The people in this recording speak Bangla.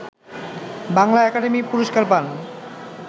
বাংলা একাডেমি পুরস্কার পান